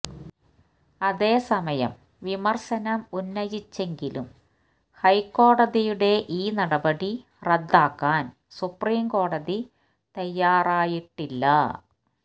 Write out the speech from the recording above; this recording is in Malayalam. അതേസമയം വിമർശനം ഉന്നയിച്ചെങ്കിലും ഹൈക്കോടതിയുടെ ഈ നടപടി റദ്ദാക്കാൻ സുപ്രീം കോടതി തയാറായിട്ടില്ല